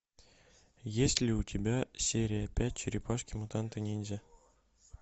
есть ли у тебя серия пять черепашки мутанты ниндзя